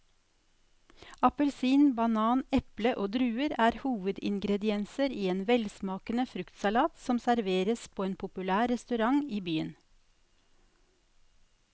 Appelsin, banan, eple og druer er hovedingredienser i en velsmakende fruktsalat som serveres på en populær restaurant i byen.